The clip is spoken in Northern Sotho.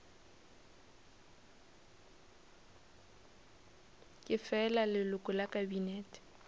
ke fela leloko la kabinete